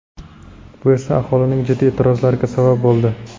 Bu esa aholining jiddiy e’tirozlariga sabab bo‘ldi.